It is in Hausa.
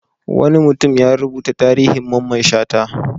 Wani mutum ya rubuta tarihin Mamman Shata.